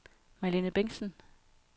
Malene Bentzen